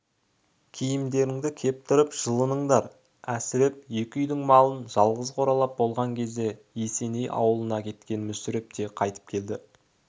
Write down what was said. киімдеріңді кептіріп жылыныңдар әсіреп екі үйдің малын жалғыз қоралап болған кезде есеней ауылына кеткен мүсіреп те қайтып келді